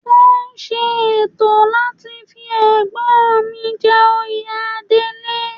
Wọ́n ṣe ètò láti fi Ẹ̀gbọ́n mi jẹ oyè Adelé